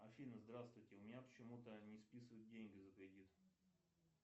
афина здравствуйте у меня почему то не списывают деньги за кредит